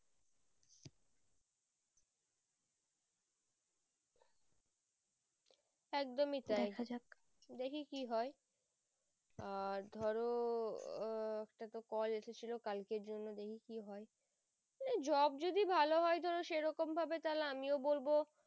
একদমই তাই দেখি কি হয় আর ধরো উম একটা তো call এসে ছিল কালকের জন্য দেখি কি হয় না job যদি ভালো হয় সেরকম ভাবে তাহলে আমিও বলবো